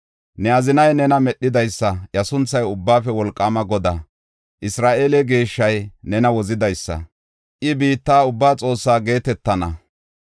Ne azinay nena Medhidaysa; iya sunthay Ubbaafe Wolqaama Godaa. Isra7eele Geeshshay nena Wozidaysa; I biitta ubbaa Xoossaa geetetana.